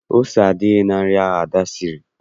Ese adịghị na nri ahụ Ada siri